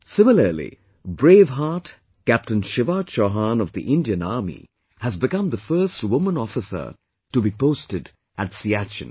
Similarly, brave heart Captain Shiva Chauhan of the Indian Army has become the first woman officer to be posted at Siachen